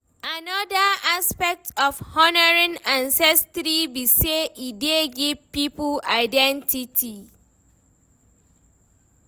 Anoda aspect of honouring ancestry be sey e dey give pipo identity